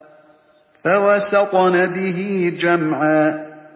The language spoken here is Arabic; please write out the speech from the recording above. فَوَسَطْنَ بِهِ جَمْعًا